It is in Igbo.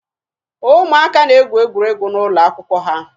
Ụmụaka na-egwu egwuregwu n'ụlọ akwụkwọ ha